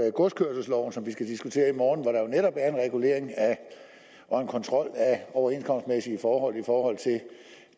i godskørselsloven som vi skal diskutere i morgen netop er en regulering og kontrol af overenskomstmæssige forhold for